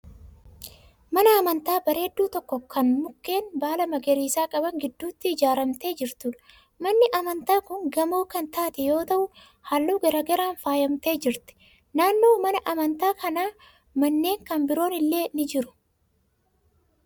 Mana amantaa bareedduu tokko kan mukeen baala magariisa qaban gidduutti ijaaramtee jirtuudha. Manni amantaa kun gamoo kan taate yoo ta'u halluu garaa garaan faayyamtee jirti. Naannoo mana amantaa kanaa manneen kan biroon illee ni jiru.